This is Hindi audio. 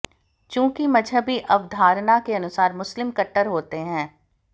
चंूकि मजहबी अवधारणा के अनुसार मुस्लिम कट्टर होते हैं